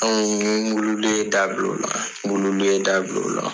Anw ye dabila o la dabila o la.